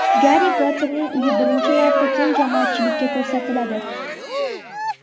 Garri Potterning uyi birinchi marta keng jamoatchilikka ko‘rsatiladi.